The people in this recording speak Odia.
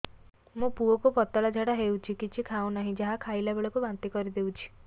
ମୋ ପୁଅ କୁ ପତଳା ଝାଡ଼ା ହେଉଛି କିଛି ଖାଉ ନାହିଁ ଯାହା ଖାଇଲାବେଳକୁ ବାନ୍ତି କରି ଦେଉଛି